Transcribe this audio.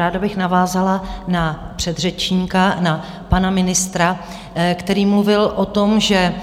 Ráda bych navázala na předřečníka, na pana ministra, který mluvil o tom, že